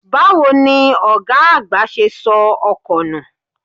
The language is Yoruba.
Báwo ni ọ̀gá àgbà ṣe sọ ọkọ nù?